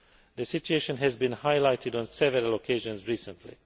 The situation has been highlighted on several occasions recently.